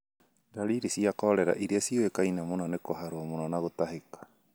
Ndariri cia korera iria ciũĩkaine mũno nĩ kũharwo mũno na gũtahĩka.